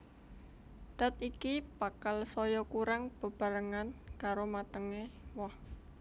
Dat iki bakal saya kurang bebarengan karo matengé woh